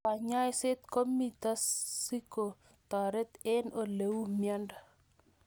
Kanyaiset komito siko taret eng' ole uu miondo